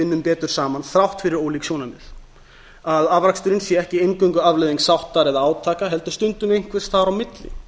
vinnum betur saman þrátt fyrir ólík sjónarmið að afraksturinn sé ekki eingöngu afleiðing sáttar eða átaka heldur stundum einhvers staðar á milli